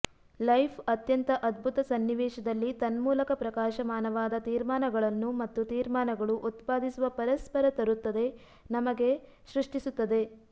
life ಅತ್ಯಂತ ಅದ್ಭುತ ಸನ್ನಿವೇಶದಲ್ಲಿ ತನ್ಮೂಲಕ ಪ್ರಕಾಶಮಾನವಾದ ತೀರ್ಮಾನಗಳನ್ನು ಮತ್ತು ತೀರ್ಮಾನಗಳು ಉತ್ಪಾದಿಸುವ ಪರಸ್ಪರ ತರುತ್ತದೆ ನಮಗೆ ಸೃಷ್ಟಿಸುತ್ತದೆ